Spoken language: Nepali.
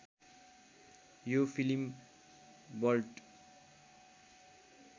यो फिलिम वल्ट